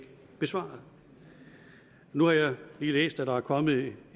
besvaret nu har jeg lige læst at der er kommet et